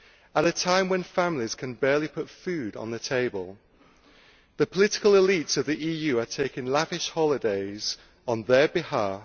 At a time when families can barely put food on the table, the political elite of the EU are taking lavish holidays on their behalf.